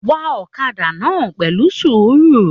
Wá ọ̀kàdà náà pẹlu sùúrù.